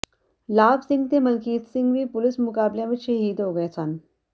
ਲਾਭ ਸਿੰਘ ਤੇ ਮਲਕੀਤ ਸਿੰਘ ਵੀ ਪੁਲੀਸ ਮੁਕਾਬਲਿਆਂ ਵਿਚ ਸ਼ਹੀਦ ਹੋ ਗਏ ਸਨ